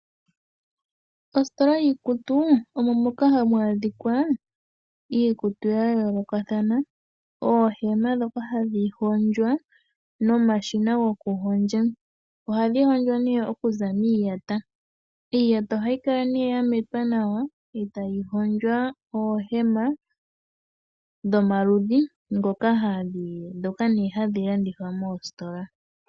Ositola yiikutu omo moka hamu adhika iikutu ya yoolokathana, oohema ndhoka hadhi hondjwa nomashina gokuhondja. Ohadhi hondjwa okuza miiyata. Iiyata ohayi kala ya metwa nawa e tayi hondjwa oohema dhomaludhi ndhoka nduno hadhi landithwa moositola.